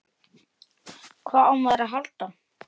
Hvað á maður að halda?